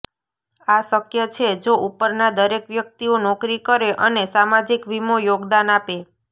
આ શક્ય છે જો ઉપરના દરેક વ્યક્તિઓ નોકરી કરે અને સામાજિક વીમો યોગદાન આપે